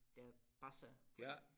Der passer fordi